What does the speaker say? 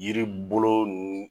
Yiri bolo